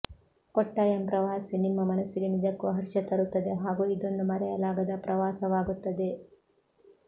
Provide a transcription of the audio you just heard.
ಕೊಟ್ಟಾಯಂ ಪ್ರವಾಸಿ ನಿಮ್ಮ ಮನಸ್ಸಿಗೆ ನಿಜಕ್ಕೂ ಹರ್ಷ ತರುತ್ತದೆ ಹಾಗೂ ಇದೊಂದು ಮರೆಯಲಾಗದ ಪ್ರವಾಸವಾಗುತ್ತದೆ